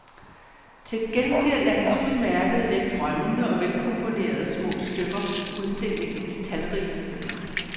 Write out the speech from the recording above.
Til gengæld er hans udmærkede let drømmende og velkomponerede små stykker udstillingens talrigeste.